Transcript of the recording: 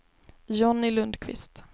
Johnny Lundkvist